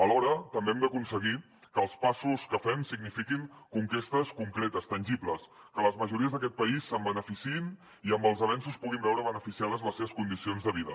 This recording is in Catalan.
alhora també hem d’aconseguir que els passos que fem signifiquin conquestes concretes tangibles que les majories d’aquest país se’n beneficiïn i amb els avenços puguin veure beneficiades les seves condicions de vida